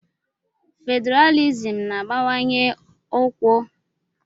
Fedralịsm na-abawanye ọkwa nke ndị mmadụ na gọọmentị.